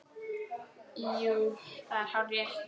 Jú, það er hárrétt